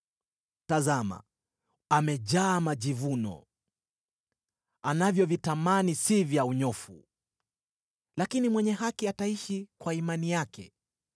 “Tazama, amejaa majivuno; anavyovitamani si vya unyofu: lakini mwenye haki ataishi kwa imani yake: